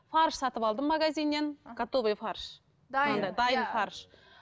фарш сатып алдым магазиннен готовый фарш